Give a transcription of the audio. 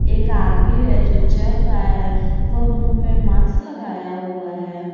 एक आदमी है जो चल रहा है वह मुंह पे मास्क लगाया हुआ है।